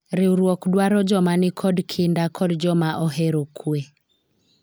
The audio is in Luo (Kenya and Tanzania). riwruok dwaro joma nikod kinda kod joma ohero kwe